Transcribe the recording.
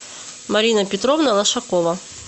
марина петровна лошакова